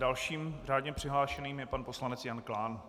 Dalším řádně přihlášeným je pan poslanec Jan Klán.